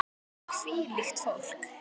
Hvílíkt fólk!